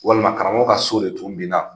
Walima karamɔgɔ ka so de tun binna.